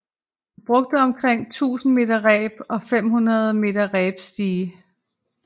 Vi brugte omkring 1000 meter reb og 50 meter reb stige